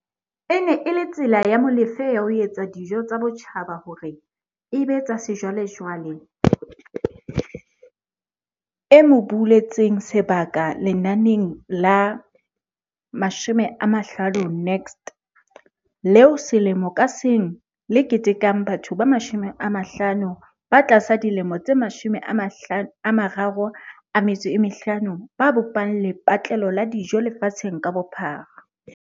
E ne e le tsela ya Molefe ya ho etsa dijo tsa botjhaba hore e be tsa sejwalejwale e mo buletseng sebaka lenaneng la 50 Next, leo selemo ka seng le ketekang batho ba 50 ba tlasa dilemo tse 35 ba bopang lepatle-lo la dijo lefatsheng ka bophara.